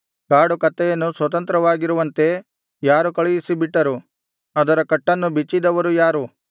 ಕಾಡುಕತ್ತೆಯನ್ನು ಸ್ವತಂತ್ರವಾಗಿರುವಂತೆ ಯಾರು ಕಳುಹಿಸಿಬಿಟ್ಟರು ಅದರ ಕಟ್ಟನ್ನು ಬಿಚ್ಚಿದವರು ಯಾರು